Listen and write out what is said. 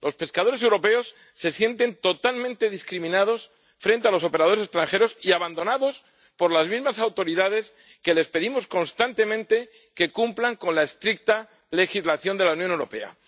Los pescadores europeos se sienten totalmente discriminados frente a los operadores extranjeros y abandonados por las mismas autoridades que les pedimos constantemente que cumplan la estricta legislación de la Unión Europea.